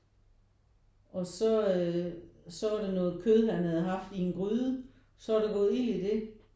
Og så øh så var der noget kød han havde haft i en gryde så var der gået ild i det